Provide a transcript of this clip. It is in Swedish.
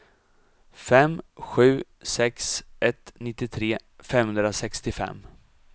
fem sju sex ett nittiotre femhundrasextiofem